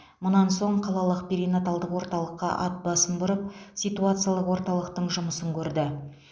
мұнан соң қалалық перинаталдық орталыққа ат басын бұрып ситуациялық орталықтың жұмысын көрді